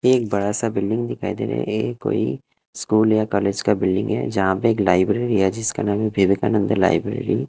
यह एक बड़ा सा बिल्डिंग दिखाई दे रहा है यह कोई स्कूल या कॉलेज का बिल्डिंग है जहाँ पे एक लाइब्रेरी है जिसका नाम है विवेकानंद लाइब्रेरी ।